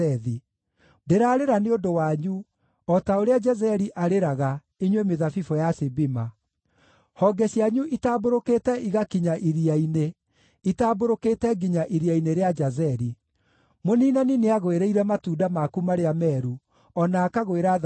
Ndĩrarĩra nĩ ũndũ wanyu, o ta ũrĩa Jazeri arĩraga, inyuĩ mĩthabibũ ya Sibima. Honge cianyu itambũrũkĩte igakinya iria-inĩ; itambũrũkĩte nginya iria-inĩ rĩa Jazeri. Mũniinani nĩagũĩrĩire matunda maku marĩa meeru, o na akagwĩra thabibũ.